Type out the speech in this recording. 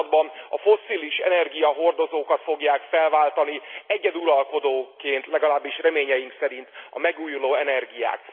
században a fosszilis energiahordozókat fogják felváltani egyeduralkodóként, legalábbis reményeink szerint, a megújuló energiák.